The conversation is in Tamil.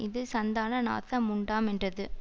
இது சந்தான நாச முண்டாமென்றது